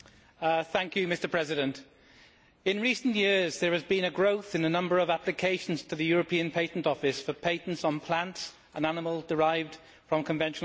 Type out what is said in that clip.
Mr President, in recent years there has been a growth in the number of applications to the European Patent Office for patents on plants and animals derived from conventional breeding.